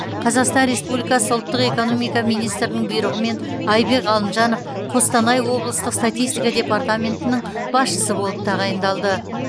қазақстан республикасы ұлттық экономика министрінің бұйрығымен айбек ғалымжанов қостанай облыстық статистика департаментінің басшысы болып тағайындалды